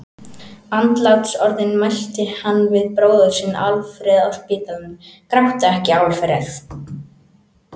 Andlátsorðin mælti hann við bróður sinn Alfreð á spítalanum: Gráttu ekki, Alfreð!